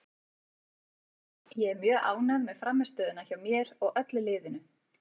Ég er mjög ánægð með frammistöðuna hjá mér og öllu liðinu.